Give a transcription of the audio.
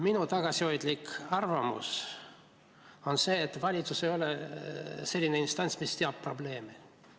Minu tagasihoidlik arvamus on see, et valitsus ei ole selline instants, mis teab probleeme.